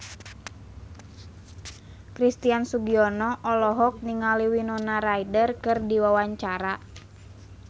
Christian Sugiono olohok ningali Winona Ryder keur diwawancara